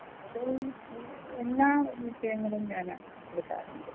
അത് എല്ലാ വിഷയങ്ങളും ഞാന് എടുക്കാറുണ്ട്